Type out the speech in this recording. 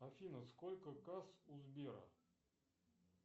афина сколько касс у сбера